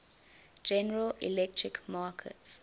general electric markets